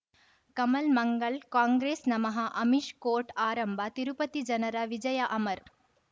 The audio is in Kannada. ಕಮಲ್ ಮಂಗಳ್ ಕಾಂಗ್ರೆಸ್ ನಮಃ ಅಮಿಷ್ ಕೋರ್ಟ್ ಆರಂಭ ತಿರುಪತಿ ಜನರ ವಿಜಯ ಅಮರ್